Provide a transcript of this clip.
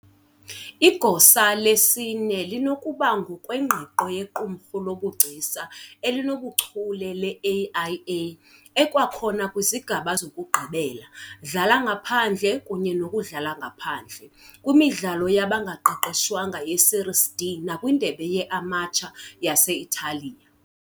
Igosa lesine linokuba ngokwengqiqo yeQumrhu lobuGcisa elinobuchule le- AIA, ekwakhona kwizigaba zokugqibela Dlala ngaphandle kunye nokuDlala ngaphandle kwimidlalo yabangaqeqeshwanga yeSerie D nakwindebe yeAmateur yase-Italiya.